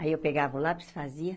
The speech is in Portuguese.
Aí eu pegava o lápis e fazia.